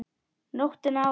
Nóttina áður!